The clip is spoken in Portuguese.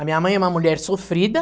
A minha mãe é uma mulher sofrida.